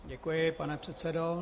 Děkuji, pane předsedo.